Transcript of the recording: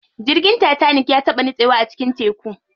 Jirgin tatanik ya taɓa nitsewa a cikin teku.